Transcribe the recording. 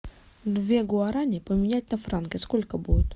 две гуарани поменять на франки сколько будет